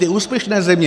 Ty úspěšné země!